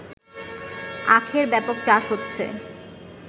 আখের ব্যাপক চাষ হচ্ছে